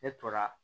Ne tora